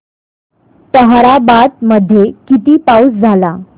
ताहराबाद मध्ये किती पाऊस झाला